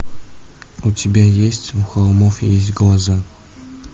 у тебя есть у холмов есть глаза